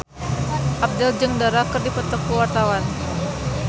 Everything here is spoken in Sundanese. Abdel jeung Dara keur dipoto ku wartawan